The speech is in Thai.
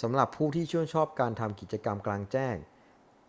สำหรับผู้ที่ชื่นชอบการทำกิจกรรมกลางแจ้ง